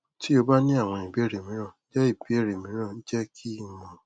ti o ba ni awọn ibeere miiran jẹ ibeere miiran jẹ ki n mọ